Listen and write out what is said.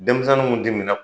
Denmisɛnnin mun tɛ min